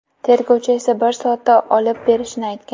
Tergovchi esa bir soatda olib berishini aytgan.